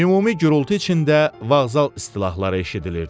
Ümumi gurultu içində vağzal istilahları eşidilirdi.